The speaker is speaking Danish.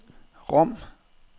Rom